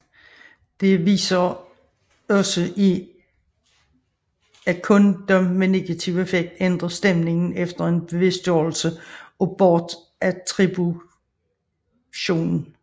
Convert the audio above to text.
Det viser også er at kun dem med negativ affekt ændrer stemning efter en bevidstgørelse af bortattributionen